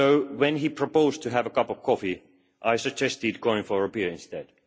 When he proposed we have a cup of coffee, I suggested going for a beer instead.